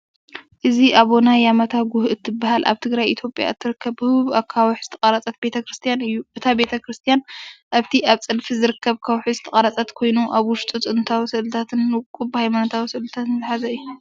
እዚ ኣቡና የማታ ጉህ እትበሃል ኣብ ትግራይ ኢትዮጵያ እትርከብ ህቡብ ኣኻውሕ ዝተቐርጸት ቤተ-ክርስትያን እዩ። እታ ቤተ-ክርስትያን ኣብቲ ኣብ ፀድፊ ዝርከብ ከውሒ ዝተቐርፀት ኮይኑ ኣብ ውሽጡ ጥንታዊ ስእልታትን ውቁብ ሃይማኖታዊ ስእልታትን ዝሓዘ እዩ።